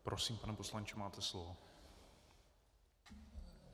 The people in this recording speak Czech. Prosím, pane poslanče, máte slovo.